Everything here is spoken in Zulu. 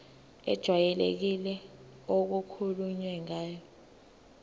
ejwayelekile okukhulunywe ngayo